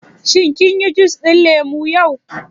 Shin kin yi jus ɗin lemu yau?